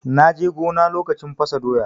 Na je gona lokacin fasa doya.